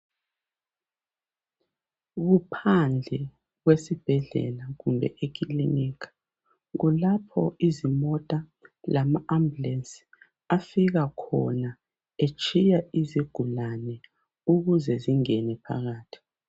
Kuphandle kwesibhedlela kumbe eclinikha kulapho izimota lama ambulance afika khona etshiya izigulane ukuze zingene phakathi